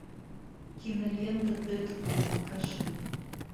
кинолента дэдпул покажи